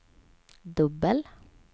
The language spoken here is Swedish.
dubbel